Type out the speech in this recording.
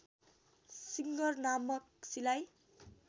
singer नामक सिलाइ